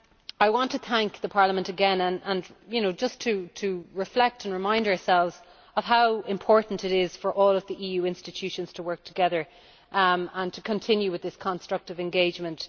I want to thank Parliament again, and to reflect and remind ourselves of how important it is for all of the EU institutions to work together and to continue with this constructive engagement.